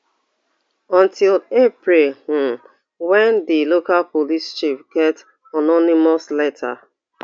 until april um wen di local police chief get anonymous letter